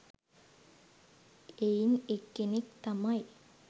එයින් එක්කෙනෙක් තමයි